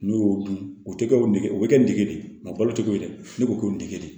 N'u y'o dun o tɛ kɛ o nege o bɛ kɛ n dege de mɛ a balo tɛ ko ye dɛ ne ko ko nin dege